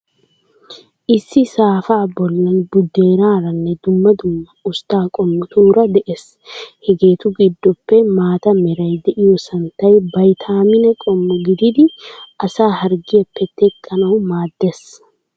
Issi saafaa bollan buddeenaaranne dumma dumma ustta qommotuura de'ees. Hegeetu giddoppe maata meray de'iyoo santtay baytaamine qommo gididi asaa harggiyaappe teqqanawu maaddees.